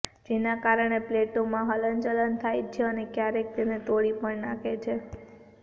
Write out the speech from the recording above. જેના કારણે પ્લેટોમાં હલનચલન થાય છે અને ક્યારેક તેને તોડી પણ નાખે છે